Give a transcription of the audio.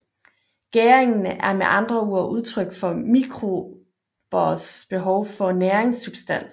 Gæringen er med andre ord udtryk for mikrobers behov for næringssubstans